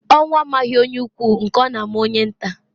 Ọnwụ amaghi onye ukwu nke ọ na-ama onye nta.